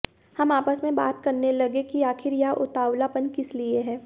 हम आपस में बात करने लगे कि आखिर यह उतावलापन किस लिए है